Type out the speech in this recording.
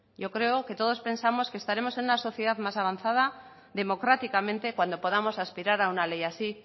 yo creo que todos pensamos que estaremos en una sociedad más avanzada democráticamente cuando podamos aspirar a una ley así